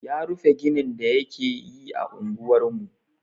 Ya rufe ginin da yake yi a unguwar mu.